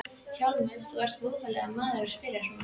VILHJÁLMUR: Þú ert voðalegur maður að spyrja svona.